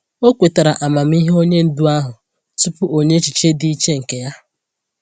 O kwetara amamihe onye ndu ahụ tupu o nye echiche dị iche nke ya.